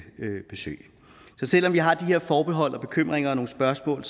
besøg så selv om vi har de her forbehold og bekymringer og nogle spørgsmål